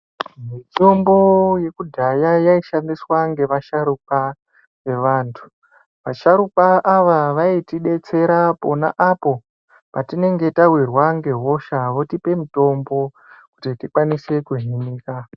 Mitombo yekudhaya yaishandiswa ngevasharuka, vevanhu. Vasharukwa ava vaitidetsera pona apo patinenge tawirwa ngehosha votipe mitombo, kuti tikwanise kuhinika.